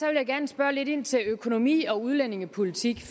jeg gerne spørge lidt ind til økonomi og udlændingepolitik